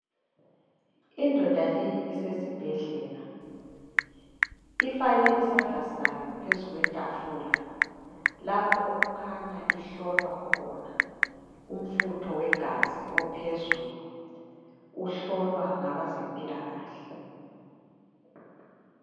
Indoda leyi isesibhedlela ifake isandla sayo phezulu kwetafula lapho okukhanya ihlolwa khona umfutho wegazi ophezulu uhlolwa ngabazempilakahle.